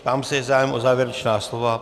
Ptám se, je zájem o závěrečná slova.